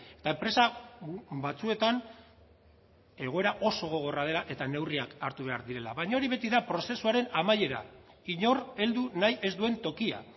eta enpresa batzuetan egoera oso gogorra dela eta neurriak hartu behar direla baina hori beti da prozesuaren amaiera inor heldu nahi ez duen tokia